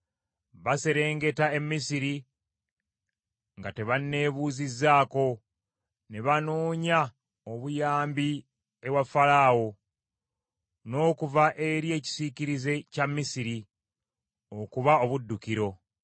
“Baserengeta e Misiri nga tebanneebuuzizzaako, ne banoonya obuyambi ewa Falaawo, n’okuva eri ekisiikirize kya Misiri okuba obuddukiro.